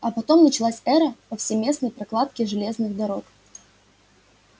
а потом началась эра повсеместной прокладки железных дорог